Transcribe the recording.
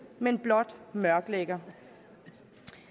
men blot mørklægger